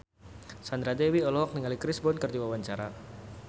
Sandra Dewi olohok ningali Chris Brown keur diwawancara